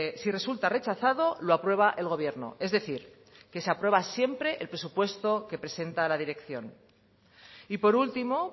si resulta rechazado lo aprueba el gobierno es decir que se aprueba siempre el presupuesto que presenta la dirección y por último